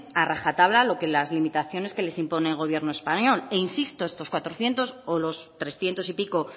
a rajatabla las limitaciones que les impone el gobierno español e insisto estos cuatrocientos o los trescientos y pico